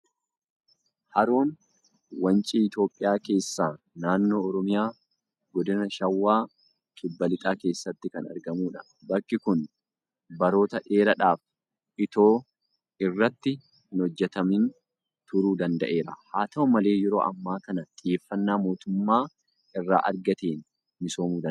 Haroon wancii Itoophiyaa keessaa naannoo Oromiyaa godina shawaa kibba lixaa keessatti kan argamuudha. Bakki kun baroota dheeraadhaaf itoo irratti hin hojjetamin turuu danda'eera. Haata'u malee yeroo ammaa kana xiyyeeffannaa mootummaa irraa argateen misoomuu danda'eera.